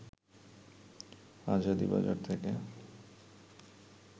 আজাদী বাজার থেকে